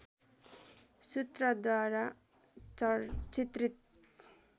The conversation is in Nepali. सूत्रद्वारा चित्रित